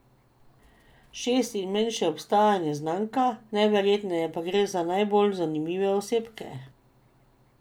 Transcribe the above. Šest imen še ostaja neznanka, najverjetneje pa gre za najbolj zanimive osebke.